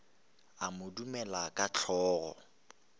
a mo dumela ka hlogo